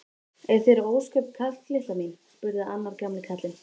Er þér ósköp kalt litla mín? spurði annar gamli karlinn.